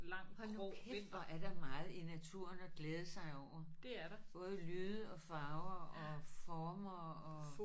Hold nu kæft hvor er der meget i naturen at glæde sig over. Både lyde og farver og former og